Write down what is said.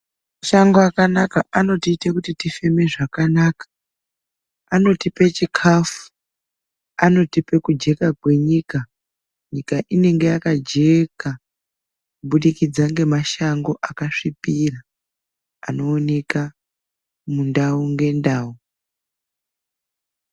Mashango akanaka anotiite kuti tifeme zvakanaka, anotipe chikafu, anotipe kujeka kwenyika. Nyika inenge yakajeka kubudikidza ngemashango akasvipira, anooneka mundau ngendau.